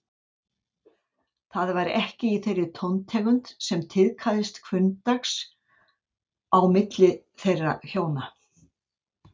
Það var ekki í þeirri tóntegund sem tíðkaðist hvunndags á milli þeirra hjóna.